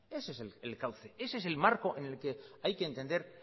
ese es el cauce ese es el marco en el que hay que entender